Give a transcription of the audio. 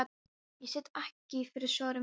Ég sit ekki fyrir svörum hjá þér.